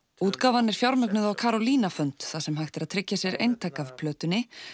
útgáfan er fjármögnuð á fund þar sem hægt er að tryggja sér eintak af plötunni